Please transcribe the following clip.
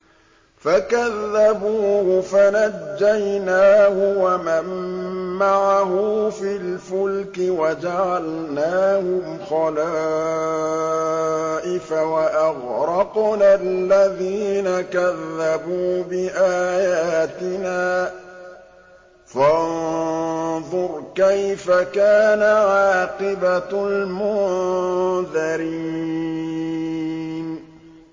فَكَذَّبُوهُ فَنَجَّيْنَاهُ وَمَن مَّعَهُ فِي الْفُلْكِ وَجَعَلْنَاهُمْ خَلَائِفَ وَأَغْرَقْنَا الَّذِينَ كَذَّبُوا بِآيَاتِنَا ۖ فَانظُرْ كَيْفَ كَانَ عَاقِبَةُ الْمُنذَرِينَ